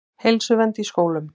Heilsuvernd í skólum.